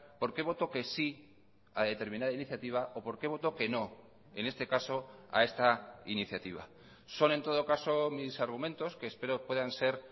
por qué voto que sí a determinada iniciativa o por qué voto que no en este caso a esta iniciativa son en todo caso mis argumentos que espero puedan ser